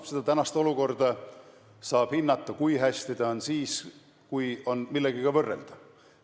No seda praegust olukorda, kui hästi ta on, saab hinnata siis, kui on millegagi võrrelda.